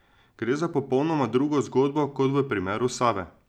Gre za popolnoma drugo zgodbo kot v primeru Save.